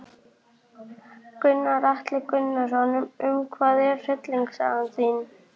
Gunnar Atli Gunnarsson: Um hvað er hryllingssaga þín?